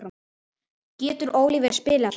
Getur Oliver spilað þá?